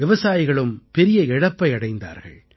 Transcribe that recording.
விவசாயிகளும் பெரிய இழப்பை அடைந்தார்கள்